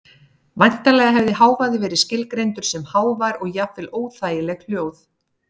Væntanlega hefði hávaði verið skilgreindur sem hávær og jafnvel óþægileg hljóð.